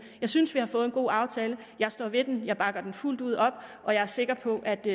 jeg synes vi har fået en god aftale jeg står ved den jeg bakker den fuldt ud op og jeg er sikker på at det